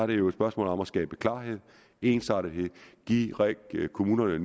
det jo et spørgsmål om at skabe klarhed ensartethed og give kommunerne